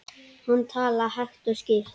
Hann talaði hægt og skýrt.